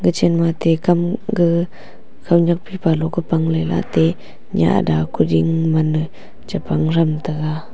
chenna ateh kam gag konyak phaipa lohkah pangle la ate nyah adha kuding maan chipang thamtaga.